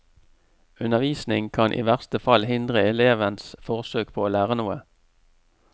Undervisning kan i verste fall hindre elevens forsøk på å lære noe.